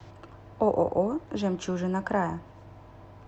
ооо жемчужина края